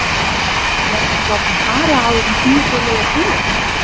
Verður hann látinn fara áður en tímabilið er búið?